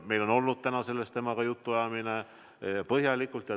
Meil on olnud täna temaga sel teemal põhjalik jutuajamine.